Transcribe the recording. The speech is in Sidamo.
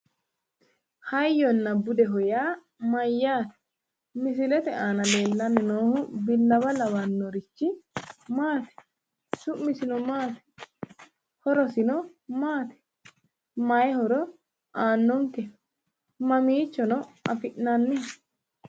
Hayyona budeho yaa mayyaate misilete aana leellanni noohu billawa lawannorichi Maati? Su'misino Maati horosino maati Mayi horo aannonke? mamiichono afi'naniho?